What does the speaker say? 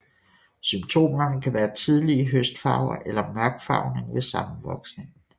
Symptomerne kan være tidlige høstfarver eller mørkfarvning ved sammenvoksningen